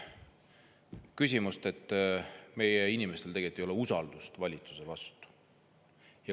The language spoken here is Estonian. Seda küsimust, et meie inimestel ei ole usaldust valitsuse vastu.